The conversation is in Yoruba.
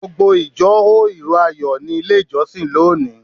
Gbogbo ìjọ hó ìró Ayọ̀ nílé ìjọsìn lónìí.